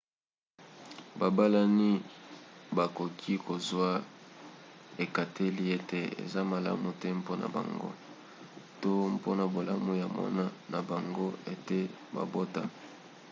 babalani bakoki kozwa ekateli ete eza malamu te mpona bango to mpona bolamu ya mwana na bango ete babota